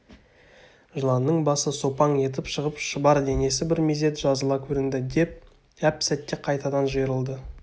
жыланның басы сопаң етіп шығып шұбар денесі бір мезет жазыла көрінді де әп-сәтте қайтадан жиырылды